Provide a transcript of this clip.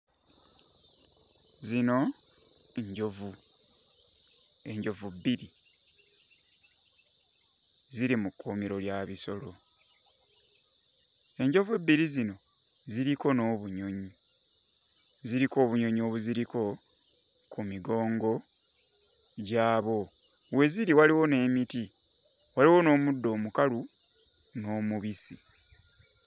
Zino njovu, enjovu bbiri, ziri mu kkuumiro lya bisolo. Enjovu ebbiri zino ziriko n'obunyonyi, ziriko obunyonyi obuziriko ku migongo gyabo. We ziri waliwo n'emiti, waliwo n'omuddo omukalu n'omubisi.